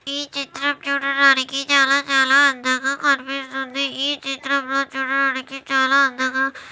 ఈ చిత్రం చూడడానికి చాలా చాలా అందంగా కనిపిస్తుంది ఈ చిత్రం లో చూడడానికి చాలా అందంగా --